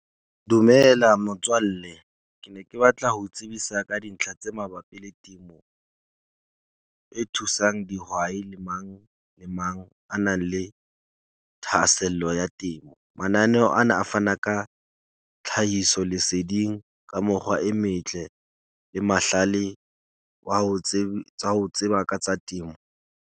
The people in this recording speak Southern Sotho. Dumela motswalle. Ke ne ke batla ho tsebisa ka dintlha tse mabapi le, e thusang dihwai le mang le mang a nang le thahasello ya temo. Mananeho ana a fana ka tlhahiso leseding ka mekgwa e metle le mahlale wa ho tseba, tsa ho tseba ka tsa temo.